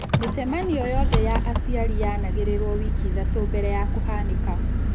Mĩcemanio yothe ya aciari yaanagĩrĩrwo wiki ithatũ mbere ya kũhanĩka.